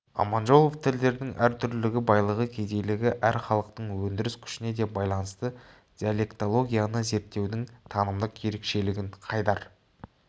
аманжолов тілдердің әртүрлілігі байлығы кедейлігі әр халықтың өндіріс күшіне де байланысты диалектологияны зерттеудің танымдық ерекшелігін қайдар